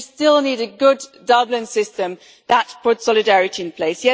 Yes, we still need a good Dublin system that puts solidarity in place.